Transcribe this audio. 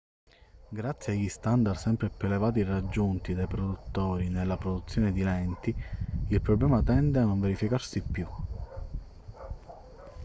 grazie agli standard sempre più elevati raggiunti dai produttori nella produzione di lenti il problema tende a non verificarsi più